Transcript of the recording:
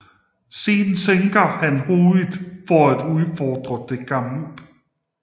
Siden sænker han hovedet for at udfordre til kamp